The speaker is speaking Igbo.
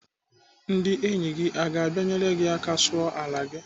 Ndị enyi gị aga abịa enyere gị aka sụọ ala gị?